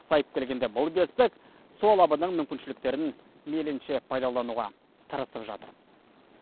сайып келгенде бұл бестік су алабының мүмкіншіліктерін мейлінше пайдалануға тырысып жатыр